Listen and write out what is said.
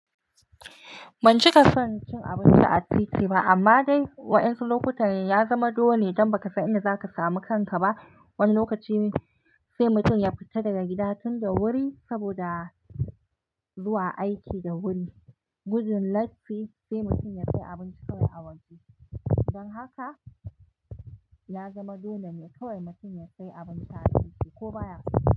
Ban cika son cin abinci a titi ba amma dai waɗansu lokutan ya zama dole don ba ka san inda za ka samu kanka ba. Wani lokaci sai mutum ya fita daga gida tun da wuri saboda zuwa aiki da wuri. Gudun latti sai mutum sai abinci a waje. Don haka ya zama dole ne kawai mutum sai abinci a titi ko baya kai.